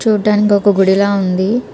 చూడ్డానికి ఒక గుడిలా ఉంది .